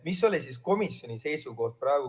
Mis oli komisjoni seisukoht?